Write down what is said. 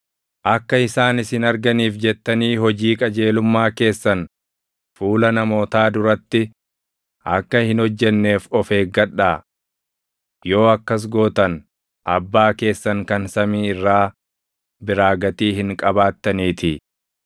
“Akka isaan isin arganiif jettanii ‘Hojii qajeelummaa’ keessan fuula namootaa duratti akka hin hojjenneef of eeggadhaa. Yoo akkas gootan abbaa keessan kan samii irraa biraa gatii hin qabaattaniitii.